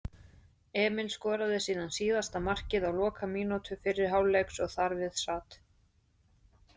Emil skoraði síðan síðasta markið á lokamínútu fyrri hálfleiks og þar við sat.